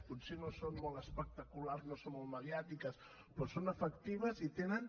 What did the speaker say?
potser no són molt espectaculars no són molt mediàtiques però són efectives i tenen